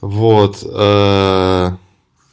вот ээ